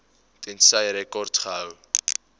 tensy rekords gehou